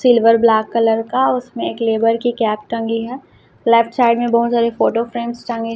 silver black colour का उसमें एक लेबर की कैप टंगी है लेफ्ट साइड में बहुत सारी फोटो फ्रेम टंगी--